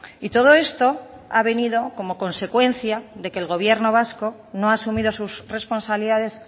y todo esto ha venido como consecuencia de que el gobierno vasco no ha asumido sus responsabilidades